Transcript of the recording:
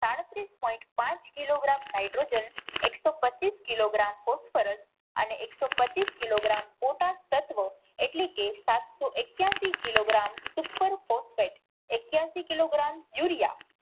સાડત્રીસ પોઈન્ટ પાંચ kilogram nitrogen એક સો પચીસ કિલોગ્રામ ફૉસ્ફરસ અને એક સો પચીસ કિલોગ્રામ તત્વો એટલે કે સાત સો એકયાસી કિલોગ્રામ સુપર ફૉસપેટ એકયાસી કિલોગ્રામ યુરિયા